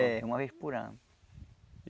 É, uma vez por ano.